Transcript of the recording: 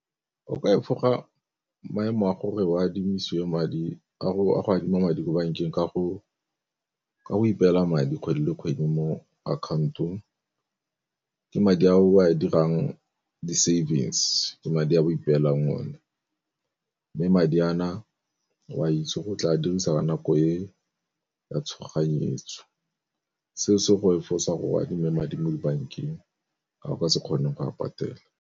O ka efoga maemo a gore o a go adime madi ko bankeng ka go ipela madi kgwedi le kgwedi mo account-ong ke madi a o a dirang di-savings, se ke madi a bo ipeelang o ne. Mme madi a na o a itse go tla dirisa ka nako e ya tshoganyetso, seo se go efosa gore o adime madi mo dibankeng a o ka se kgoneng go a patela.